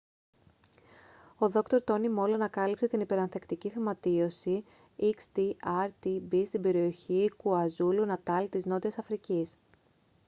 ο δρ. τόνι μολ ανακάλυψε την υπερανθεκτική φυματίωση xdr-tb στην περιοχή κουαζούλου-νατάλ της νότιας αφρικής